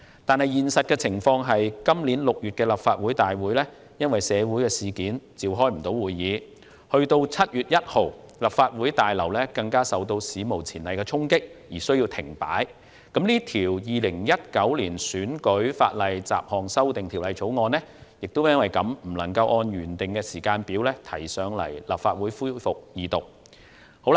但現實情況是，今年6月立法會因社會事件而未能召開會議 ，7 月1日立法會大樓更受到史無前例的衝擊，立法會從而需要停擺。因此，《條例草案》不能按照原訂時間表提交立法會恢復二讀。